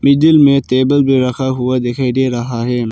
जिनमें में टेबल भी रखा हुआ दिखाई दे रहा है।